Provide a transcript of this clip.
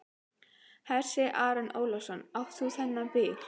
Hersir Aron Ólafsson: Átt þú þennan bíl?